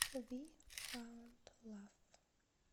ви фаунд лав